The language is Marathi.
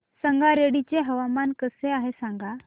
संगारेड्डी चे हवामान कसे आहे सांगा